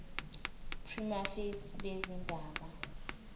prima facie bezindaba